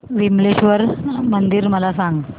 विमलेश्वर मंदिर मला सांग